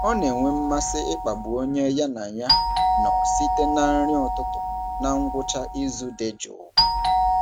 Ọ na-enwe mmasị ịkpagbu onye ya na ya nọ site na nri ụtụtụ na ngwụcha izu dị jụụ.